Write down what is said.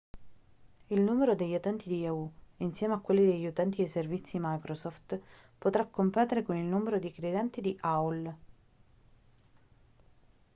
il numero degli utenti di yahoo insieme a quello degli utenti dei servizi microsoft potrà competere con il numero di clienti di aol